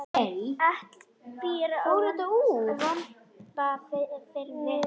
Atli býr á Vopnafirði.